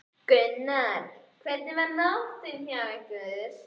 Gunnar: Hvernig var nóttin hjá ykkur?